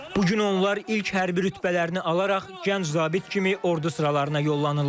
Bu gün onlar ilk hərbi rütbələrini alaraq gənc zabit kimi ordu sıralarına yollanırlar.